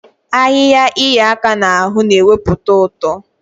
Ahịhịa ịhịa aka n'ahụ na-ewepụta ụtọ.